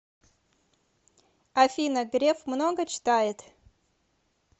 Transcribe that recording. афина греф много читает